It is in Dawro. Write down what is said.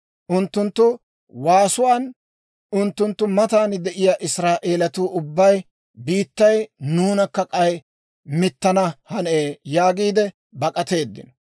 Unttunttu waasuwaan unttunttu matan de'iyaa Israa'eelatuu ubbay, «Biittay nuunakka k'ay mittana hanee!» yaagiid bak'ateeddino.